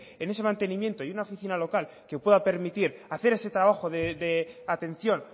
en ese mantenimiento y una oficina local que pueda permitir hacer ese trabajo de atención